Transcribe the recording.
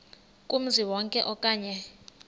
kumzi wonke okanye